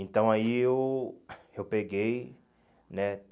Então aí eu eu peguei, né?